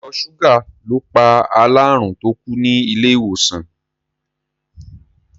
Ìtọ̀ ṣúgà ló pa alárùn tó kú ní ilé-ìwòsàn.